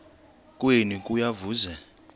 kwenu kuya kuveza